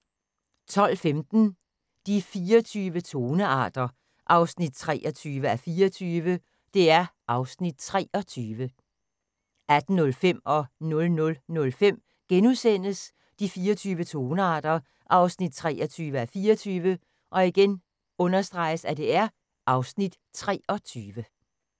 12:15: De 24 tonearter 23:24 (Afs. 23) 18:05: De 24 tonearter 23:24 (Afs. 23)* 00:05: De 24 tonearter 23:24 (Afs. 23)*